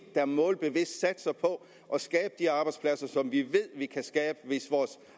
der målbevidst satser på at skabe de arbejdspladser som vi ved vi kan skabe hvis vores